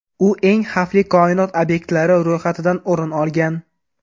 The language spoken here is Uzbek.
U eng xavfli koinot obyektlari ro‘yxatidan o‘rin olgan.